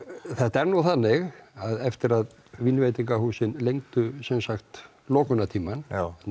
þetta er nú þannig að eftir að lengdu lokunartíma